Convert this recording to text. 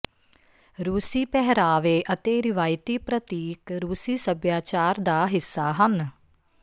ਰੂਸੀ ਪਹਿਰਾਵੇ ਅਤੇ ਰਿਵਾਇਤੀ ਪ੍ਰਤੀਕ ਰੂਸੀ ਸੱਭਿਆਚਾਰ ਦਾ ਹਿੱਸਾ ਹਨ